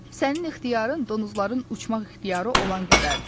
Sənin ixtiyarın donuzların uçmaq ixtiyarı olan qədərdir.